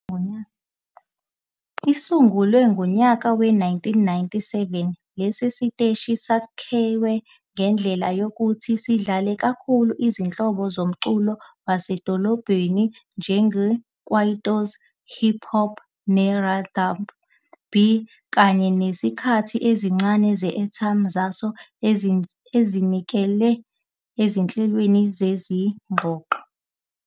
Isungulwe ngonyaka we-1997, lesi siteshi sakhiwe ngendlela yokuthi sidlale kakhulu izinhlobo zomculo wasemadolobheni njengeKwaito, iHip Hop, neR and B kanye nesikhathi esincane se-airtime saso esizinikele ezinhlelweni zezingxoxo.